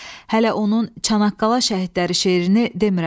Hələ onun Çanaqqala şəhidləri şeirini demirəm.